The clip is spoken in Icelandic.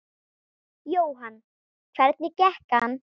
Jóhann: Hvernig gekk hann?